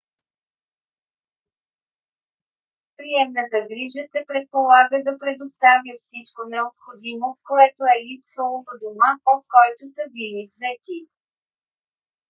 приемната грижа се предполага да предоставя всичко необходимо което е липсвало в дома от който са били взети